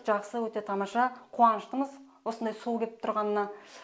жақсы өте тамаша қуаныштымыз осындай суы кеп тұрғанына